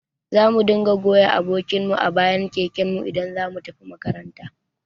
Zamu dinga goya abokin mu a bayan keken mu idan zamu tafi makaranta